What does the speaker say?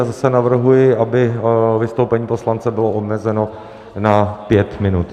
Já zase navrhuji, aby vystoupení poslance bylo omezeno na pět minut.